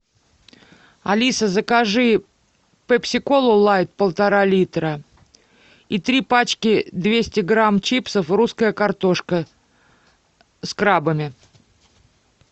алиса закажи пепси колу лайт полтора литра и три пачки двести грамм чипсов русская картошка с крабами